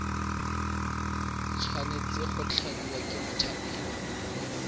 tshwanetse go tladiwa ke mothapiwa